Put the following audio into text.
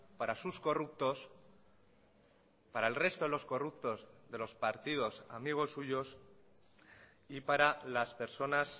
para sus corruptos para el resto de los corruptos de los partidos amigos suyos y para las personas